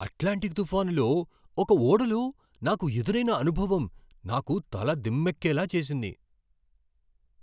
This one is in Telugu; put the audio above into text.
అట్లాంటిక్ తుఫానులో ఒక ఓడలో నాకు ఎదురైన అనుభవం నాకు తల దిమ్మెక్కేలా చేసింది!